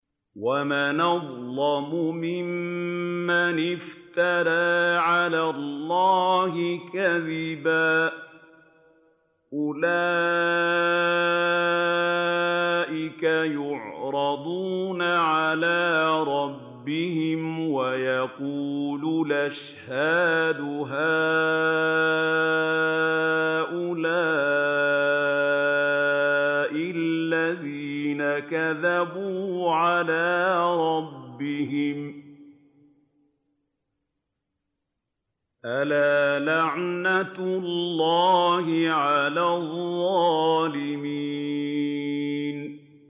وَمَنْ أَظْلَمُ مِمَّنِ افْتَرَىٰ عَلَى اللَّهِ كَذِبًا ۚ أُولَٰئِكَ يُعْرَضُونَ عَلَىٰ رَبِّهِمْ وَيَقُولُ الْأَشْهَادُ هَٰؤُلَاءِ الَّذِينَ كَذَبُوا عَلَىٰ رَبِّهِمْ ۚ أَلَا لَعْنَةُ اللَّهِ عَلَى الظَّالِمِينَ